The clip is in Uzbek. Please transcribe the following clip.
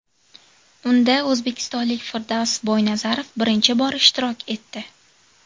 Unda o‘zbekistonlik Firdavs Boynazarov birinchi bor ishtirok etdi.